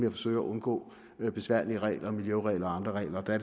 at forsøge at undgå besværlige regler miljøregler og andre regler og der